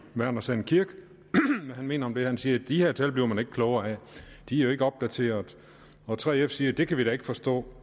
verner sand kirk hvad han mener om de han siger de her tal bliver man ikke klogere af de er jo ikke opdaterede og 3f siger det kan vi da ikke forstå